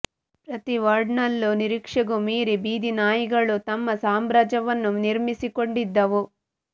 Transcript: ಪ್ರತಿ ವಾರ್ಡ್ನಲ್ಲೂ ನಿರೀಕ್ಷೆಗೂ ಮೀರಿ ಬೀದಿ ನಾಯಿಗಳು ತಮ್ಮ ಸಾಮ್ರಾಜ್ಯವನ್ನು ನಿರ್ಮಿಸಿಕೊಂಡಿದ್ದವು